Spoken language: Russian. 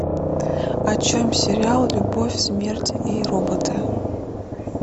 о чем сериал любовь смерть и роботы